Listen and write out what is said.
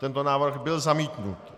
Tento návrh byl zamítnut.